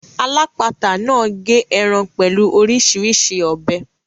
Alápatà náà gé ẹran pẹ̀lú orísirísi ọ̀bẹ.